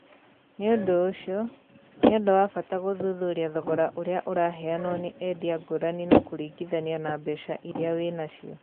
Nĩ ũndũ ũcio, nĩ ũndũ wa bata gũthuthuria thogora ũrĩa ũraheanwo nĩ endia ngũrani na kũringithania na mbeca iria wĩ na cio.